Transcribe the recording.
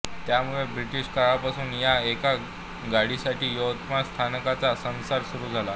त्यामुळे ब्रिटिश काळापासून या एका गाडीसाठी यवतमाळ स्थानकाचा संसार सुरू आहे